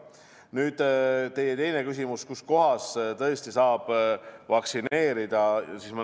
Nüüd teie teine küsimus, kus kohas saab vaktsineerida.